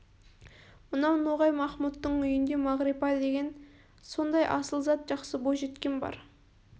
мынау ноғай махмұттың үйінде мағрипа деген сондай асыл зат жақсы бойжеткен бар